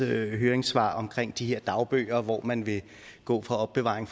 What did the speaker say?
høringssvar om de her dagbøger hvor man vil gå fra opbevaring